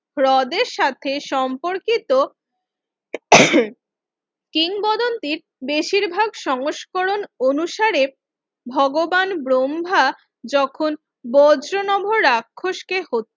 হ্রদের সাথে সম্পর্কিত কিংবদন্তি বেশিরভাগ সংস্করণ অনুসারে ভগবান ব্রহ্মা যখন বজ্র নভ রাক্ষস কে হত্যা